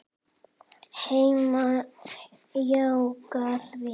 Hemmi jánkar því.